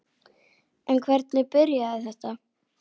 En hvernig byrjaði þetta?